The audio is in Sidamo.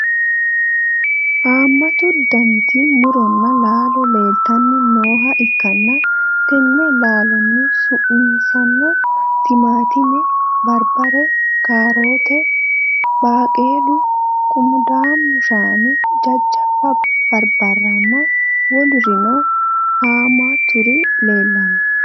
haammatu daniti muronna laalo leeltanni nooha ikkanna, tenne laalohu su'minsano: timaattime, barbare, kaaroote, baaqulu qunqumadu shaani jajjabba barbarenna wolurino haammaturi leelanno.